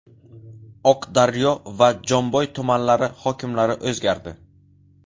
Oqdaryo va Jomboy tumanlari hokimlari o‘zgardi.